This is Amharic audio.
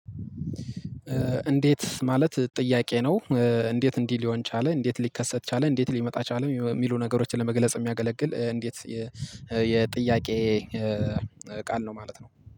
እንዴት ማለት ጥያቄ ነው? እንዴት እንዲህ ሊሆን ቻለ እንዴት ሊከሰት ቻለ እንዴት ሊመጣ ቻለ የሚሉ ነገሮችን ለመግለጽ የሚያገለግል እንዴት የጥያቄ ቃል ነው። ማለት ነው